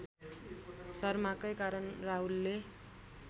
शर्माकै कारण राहुलले